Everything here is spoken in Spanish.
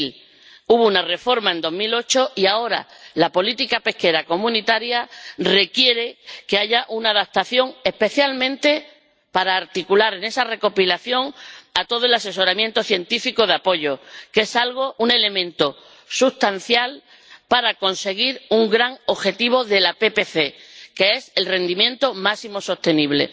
2000. Hubo una reforma en 2008 y ahora la política pesquera comunitaria requiere que haya una adaptación, especialmente para articular en esa recopilación todo el asesoramiento científico de apoyo, que es un elemento sustancial para conseguir un gran objetivo de la PPC, el rendimiento máximo sostenible.